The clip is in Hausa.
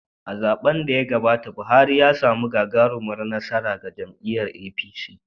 A zaɓen da ya gabata, Buhari ya samu gagarumar nasara ga jam’iyyar APC.